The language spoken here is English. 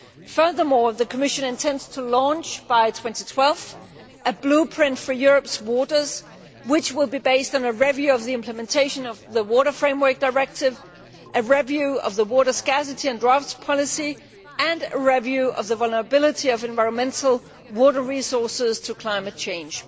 Furthermore, the Commission intends to launch by 2012 a blueprint for Europe's waters which will be based on a review of the implementation of the Water Framework Directive, a review of the water scarcity and droughts policy and a review of the vulnerability of water resources to climate change.